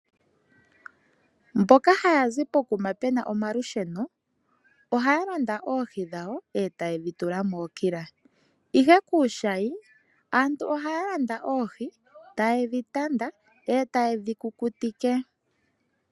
Mboka haya zi pokuma pu na omalusheno, ohaya landa oohi dhawo e ta ye dhi tula mookila, ihe kuushayi aantu ohaya landa oohi taye dhi tanda e ta ye dhi kukutike.